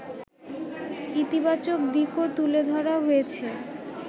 ইতিবাচক দিকও তুলে ধরা হয়েছে